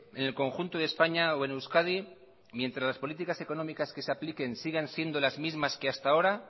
en el conjunto de españa o en euskadi mientras las políticas económicas que se apliquen sigan siendo las mismas que hasta ahora